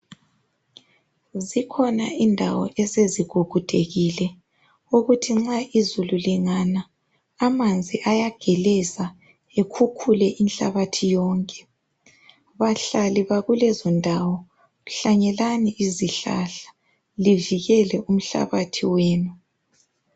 Zikhona indawo esezigugudekile ukuthi nxa izulu lingana amanzi ayageleza ekhukhule inhlabathi yonke. Bahlali bakulezondawo hlanyelani izihlahla livikele umhlabathi wenu.